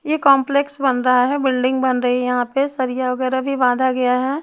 ये कॉम्प्लेक्स बन रहा है बिल्डिंग बन रही है यहाँ पे सरिया वगैरा भी बांधा गया हैं।